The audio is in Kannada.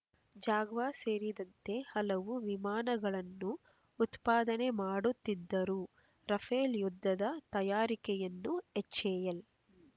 ಜಾಗ್ವಾರ್ ಸೇರಿದಂತೆ ಹಲವು ವಿಮಾನಗಳನ್ನು ಉತ್ಪಾದನೆ ಮಾಡುತ್ತಿದ್ದರೂ ರಫೇಲ್ ಯುದ್ಧದ ತಯಾರಿಕೆಯನ್ನು ಹೆಚ್ಎಎಲ್